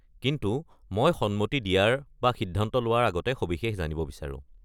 কিন্তু মই সন্মতি দিয়াৰ বা সিদ্ধান্ত লোৱাৰ আগতে সবিশেষ জানিব বিচাৰো।